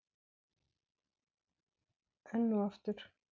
Enn og aftur.